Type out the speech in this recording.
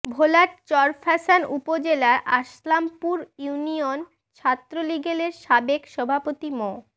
ভোলার চরফ্যাশন উপজেলার আসলামপুর ইউনিয়ন ছাত্রলীগের সাবেক সভাপতি মো